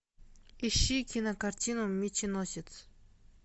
ищи кинокартину меченосец